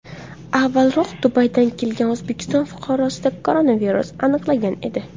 Avvalroq Dubaydan kelgan O‘zbekiston fuqarosida koronavirus aniqlangan edi .